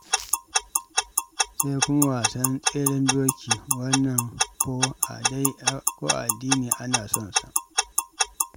Sai kuma wasan tseren doki. Wannan ko a addini ma ana son sa.